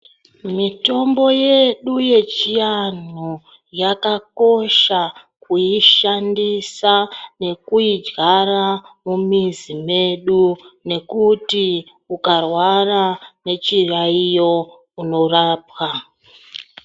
Mitombo yedu yechianhu yakakosha kuishandisa nekuidyara mumizi medu nekuti ukarwara nechiyaiyo unorapwa.